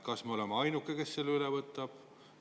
Kas meie oleme ainus, kes selle üle võtab?